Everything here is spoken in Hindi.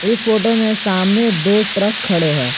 इस फोटो में सामने दो ट्रक खड़े हैं।